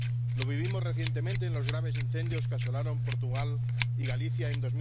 Lo vivimos recientemente en los graves incendios que asolaron Portugal y Galicia en